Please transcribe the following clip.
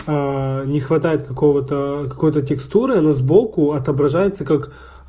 не хватает какого-то какой-то текстуры но сбоку отображается как